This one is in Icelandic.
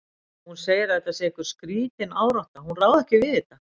Hún segir að þetta sé einhver skrítin árátta, hún ráði ekkert við þetta.